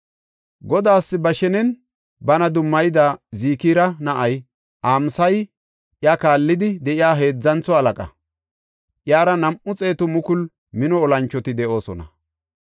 Godaas ba shenen bana dummayida Zikira na7ay Amasayi iya kaallidi de7iya heedzantho halaqa; iyara nam7u xeetu mukulu mino olanchoti de7oosona.